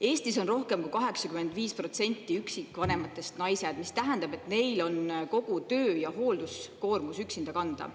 Eestis on rohkem kui 85% üksikvanematest naised, mis tähendab, et neil on kogu töö- ja hoolduskoormus üksinda kanda.